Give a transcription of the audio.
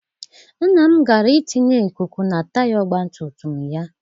Nna m gara I tinye ikuku na taya ọgbatumtum ya.